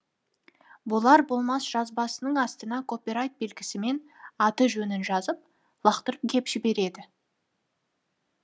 болар болмас жазбасының астына копирайт белгісімен аты жөнін жазып лақтырып кеп жібереді